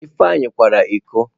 Ifeanyi kwara iko.